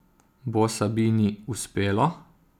Bo Sabini uspelo?